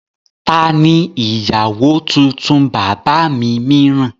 Ta ni ìyàwó tuntun bàbá mi mìíràn?